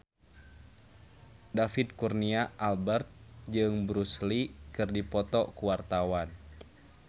David Kurnia Albert jeung Bruce Lee keur dipoto ku wartawan